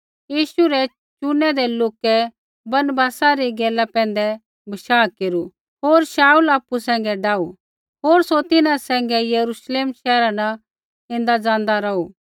यीशु रै चुनीरै लोकै बरनबासा री गैला पैंधै बशाह केरू होर शाऊल आपु सैंघै डाऊ होर सौ तिन्हां सैंघै यरूश्लेम शैहरा न ऐन्दा ज़ान्दा रौहू